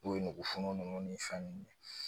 N'o ye nugu funu ninnu ni fɛn ninnu ye